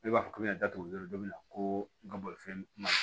Ne b'a fɔ ko n y'a da tugu don min na ko n ka bolifɛn ma